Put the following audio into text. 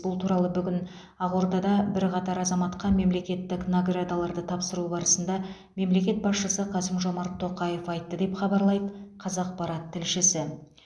бұл туралы бүгін ақордада бірқатар азаматқа мемлекеттік наградаларды тапсыру барысында мемлекет басшысы қасым жомарт тоқаев айтты деп хабарлайды қазақпарат тілшісі